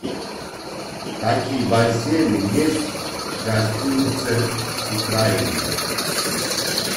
какие бассейны есть в гостинице украина